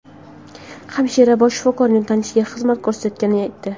Hamshira bosh shifokorning tanishiga xizmat ko‘rsatayotganini aytdi.